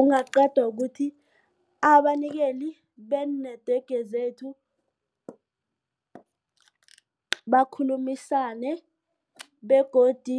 Ungaqedwa kuthi abanikeli banee-network zethu bakhulumisane begodu